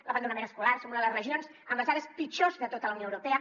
l’abandonament escolar som una de les regions amb les dades pitjors de tota la unió europea